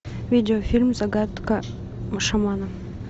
видеофильм загадка шамана